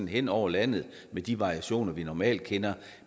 hen over landet med de variationer vi normalt kender